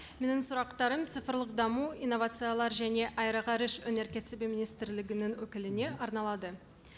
менің сұрақтарым цифрлық даму инновациялар және аэроғарыш өнеркәсібі министрлігінің өкіліне арналады